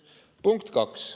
Punkt üks.